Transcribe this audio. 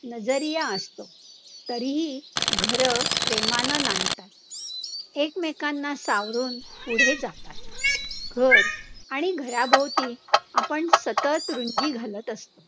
असतो, तरीही घरं प्रेमानं नांदतात. एकमेकांना सावरून पुढे जातात. घर आणि घराभोवती आपण सतत रुचि घालत असतो.